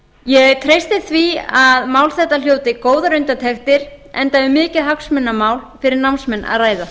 ég treysti því að mál þetta hljóti góðar undirtektir enda er um mikið hagsmunamál fyrir námsmenn að ræða